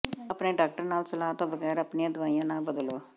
ਆਪਣੇ ਡਾਕਟਰ ਨਾਲ ਸਲਾਹ ਤੋਂ ਬਗੈਰ ਆਪਣੀਆਂ ਦਵਾਈਆਂ ਨਾ ਬਦਲੋ